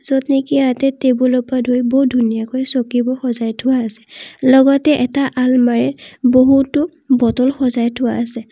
যতনেকি ইয়াতে টেবুলৰ পৰা ধৰি বহুত ধুনীয়াকৈ চকিবোৰ সজাই থোৱা আছে লগতে এটা আলমাৰিত বহুতো বটল সজাই থোৱা আছে।